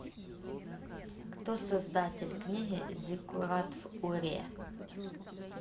кто создатель книги зиккурат в уре